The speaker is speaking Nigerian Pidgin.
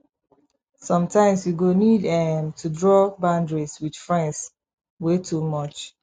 sometimes you go need um to draw boundary with friends wey too much